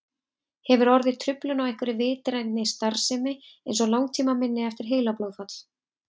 Hefur orðið truflun á einhverri vitrænni starfsemi eins og langtímaminni eftir heilablóðfall?